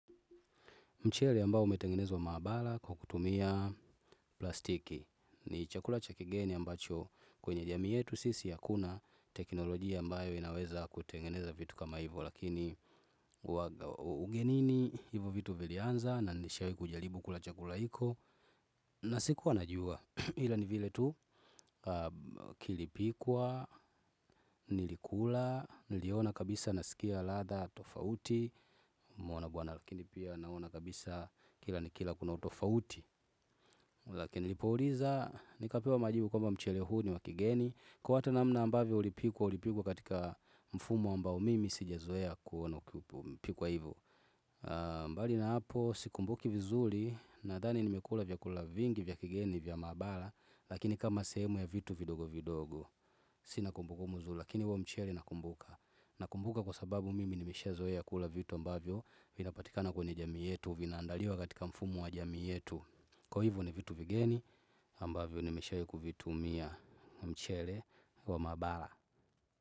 Mchele ambao umetengenezwa maabala kwa kutumia plastiki. Ni chakula cha kigeni ambacho kwenye jamii yetu sisi hakuna teknolojia ambayo inaweza kutengeneza vitu kama hivo. Lakini ugenini hivo vitu vilianza na nishawahi kujaribu kula chakula hiko. Na sikuwa najua ila ni vile tu kilipikwa, nilikula, niliona kabisa nasikia ladha tofauti. Nimeona bwana akili pia naona kabisa kila nikila kuna utofauti. Lakini nilipouliza nikapewa majibu kwamba mchele huu ni wa kigeni. Kwa hata namna ambavyo ulipikwa ulipikwa katika mfumo ambao mimi sijazoea kuona imepikwa hivo. Mbali na hapo sikumbuki vizuri. Nadhani nimekula vyakula vingi vya kigeni vya maabara lakini kama sehemu ya vitu vidogo vidogo. Sina kumbu kumbu nzuri lakini huo mchele nakumbuka. Nakumbuka kwa sababu mimi nimeshazoea kula vitu ambavyo vinapatikana kwenye jamii yetu vinaandaliwa katika mfumo wa jamii yetu kwa hivo ni vitu vigeni ambavyo nimeshawahi kuvitumia, mchele wa mabara.